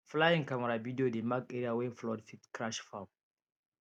flying camera video dey mark area wey flood fit crash farm